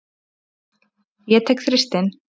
Ég tek Þristinn.